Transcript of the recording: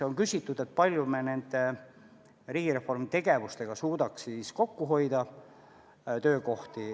On küsitud, kui palju me suudame riigireformi tegevustega töökohti kokku hoida.